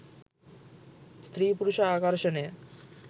ස්ත්‍රී පුරුෂ ආකර්ෂණය